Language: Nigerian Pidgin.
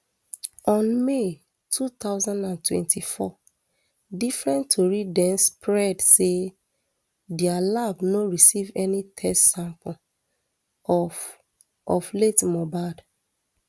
on may two thousand and twenty-four different tori den spread say dia lab no receive any test sample of of late mohbad